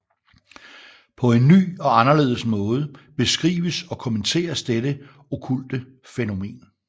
På en ny og anderledes måde beskrives og kommenteres dette okkulte fænomen